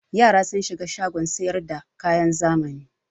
Yara sun shiga shagon sayar da kayan zamani.